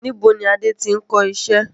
Nibo ni Adé tí n kọ iṣẹ́?